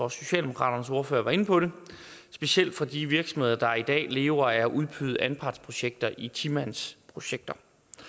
at socialdemokratiets ordfører var inde på det specielt fra de virksomheder der i dag lever af at udbyde anpartsprojekter i ti mandsprojekter